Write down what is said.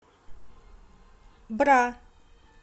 бра